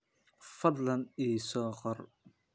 Fadlan ii soo qor.